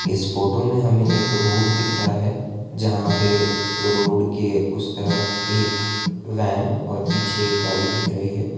इस फोटो में हमें एक रोड दिख रहा है। जहां पे रोड के उस तरफ एक वैन और पीछे गाड़ी दिख रही है।